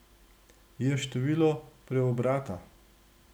Je število preobrata.